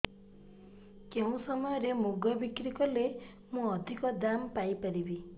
କେଉଁ ସମୟରେ ମୁଗ ବିକ୍ରି କଲେ ମୁଁ ଅଧିକ ଦାମ୍ ପାଇ ପାରିବି